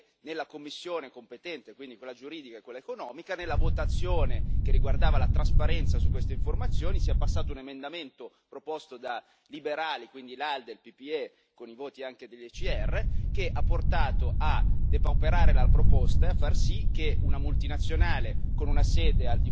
la cosa da denunciare è che nelle commissioni competenti, quindi quella giuridica e quella economica, nella votazione che riguardava la trasparenza su queste informazioni, sia passato un emendamento proposto dai liberali quindi l'ALDE, il PPE, con i voti anche dell'ECR che ha portato a depauperare la proposta e a far sì che una multinazionale con una sede al di fuori dell'Unione europea non sia obbligata a rendere trasparenti le informazioni.